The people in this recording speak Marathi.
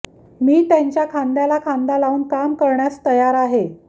मी त्यांच्या खांद्याला खांदा लावून काम करण्यास तयार आहे